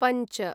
पञ्च